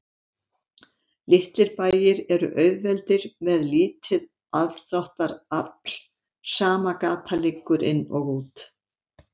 Litlir bæir eru auðveldir með lítið aðdráttarafl, sama gata liggur inn og út.